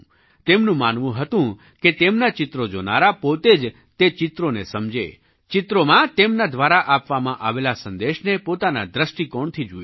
તેમનું માનવું હતું કે તેમનાં ચિત્રો જોનારા પોતે જ તે ચિત્રોને સમજે ચિત્રોમાં તેમના દ્વારા આપવામાં આવેલા સંદેશને પોતાના દૃષ્ટિકોણથી જુએ